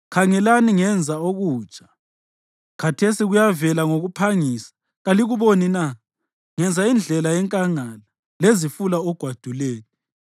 Khangelani, ngenza okutsha! Khathesi kuyavela ngokuphangisa; kalikuboni na? Ngenza indlela enkangala lezifula ogwaduleni.